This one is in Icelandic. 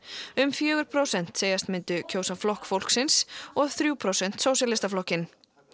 um fjögur prósent segjast myndu kjósa Flokk fólksins og þrjú prósent sósíalistaflokkinn